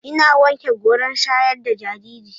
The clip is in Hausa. Ina wanke goran shayar da jariri.